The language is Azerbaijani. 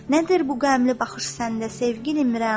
Nədir bu qəmli baxış səndə, sevgilim, Rəna?